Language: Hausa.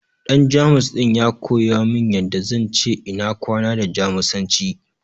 Ɗan Jamus ɗin ya koya min yanda zan ce ina kwana da Jamusanci.